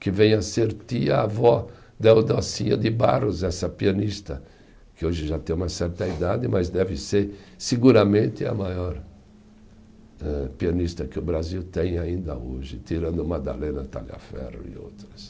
Que vem a ser tia-avó da Eudóxia de Barros, essa pianista, que hoje já tem uma certa idade, mas deve ser seguramente a maior âh pianista que o Brasil tem ainda hoje, tirando Madalena Tagliaferro e outras.